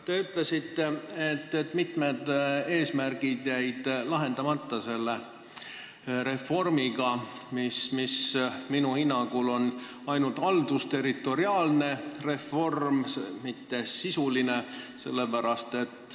Te ütlesite, et mitu eesmärki jäi lahendamata selle reformiga, mis minu hinnangul on ainult haldusterritoriaalne, mitte sisuline reform.